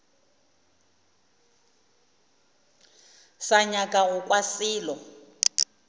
sa nyaka go kwa selo